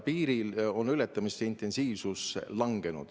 Piiri ületamise intensiivsus on langenud.